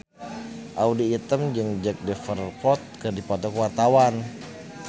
Audy Item jeung Jack Davenport keur dipoto ku wartawan